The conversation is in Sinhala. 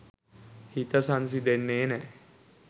හිත සංසිඳෙන්නෙ නෑ.